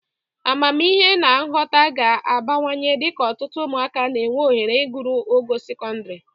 Amamihe na nghọta ga na-abawanye dịka ụtụtụ ụmụaka na-enwe ohere iguru ogo sekọndịrị